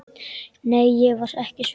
Nei, ég var ekki svöng.